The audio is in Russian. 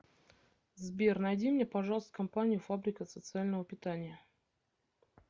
сбер найди мне пожалуйста компанию фабрика социального питания